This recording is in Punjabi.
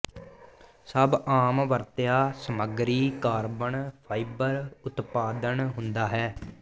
ਸਭ ਆਮ ਵਰਤਿਆ ਸਮੱਗਰੀ ਕਾਰਬਨ ਫਾਈਬਰ ਉਤਪਾਦਨ ਹੁੰਦਾ ਹੈ